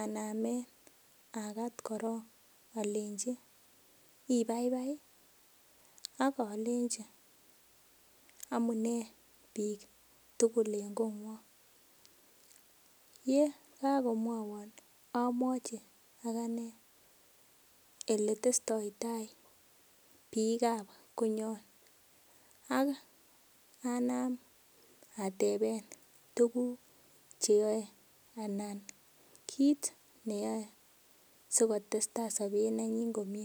anamen akat korong olenji ibaibai ii ok olenji omunee bik tugul en kongwong yekokomwowon omwochi akanee eletestoitaa ngalekab konyon ak anam ateben tuguk cheyoe anan kit neyoe sikotestaa sobet nenyin komie.